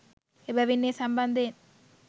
එබැවින් ඒ සම්බන්ධයෙන්